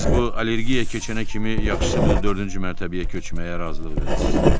Siz bu allergiya keçənə kimi yaxşısı budur dördüncü mərtəbəyə köçməyə razılıq verəsiz.